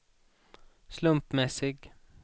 slumpmässig